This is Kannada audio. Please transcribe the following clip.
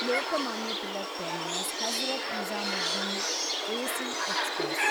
Lokmanya Tilak terminus Hazrat Nizamuddin AC express